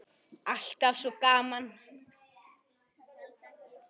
Alltaf svo gaman.